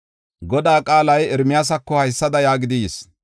“Godaa qaalay Ermiyaasako haysada yaagidi yis.